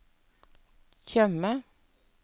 Tjøme